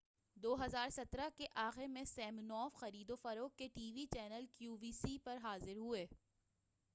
2017 کے آخر میں سمینوف خرید و فروخت کے TV channel Q V C پر حاضر ہوئے